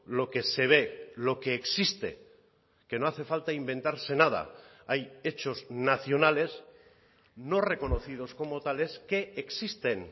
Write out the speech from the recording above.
lo que se ve lo que existe que no hace falta inventarse nada hay hechos nacionales no reconocidos como tales que existen